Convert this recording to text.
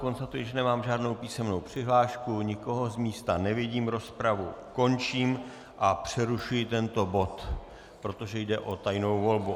Konstatuji, že nemám žádnou písemnou přihlášku, nikoho z místa nevidím, rozpravu končím a přerušuji tento bod, protože jde o tajnou volbu.